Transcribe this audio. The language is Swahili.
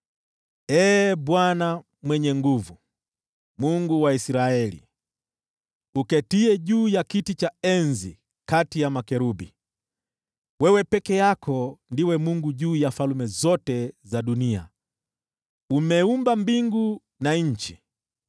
“Ee Bwana Mwenye Nguvu Zote, Mungu wa Israeli, uketiye juu ya kiti cha enzi kati ya makerubi, wewe peke yako ndiwe Mungu juu ya falme zote za dunia. Wewe umeumba mbingu na nchi.